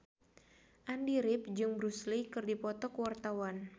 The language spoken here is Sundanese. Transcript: Andy rif jeung Bruce Lee keur dipoto ku wartawan